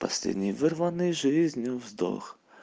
последний вырванный жизнью вздох